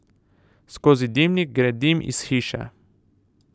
Skozi dimnik gre dim iz hiše.